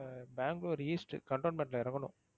Bangalore east contonment ல இறங்கணும்.